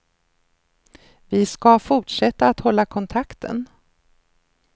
Vi ska fortsätta att hålla kontakten.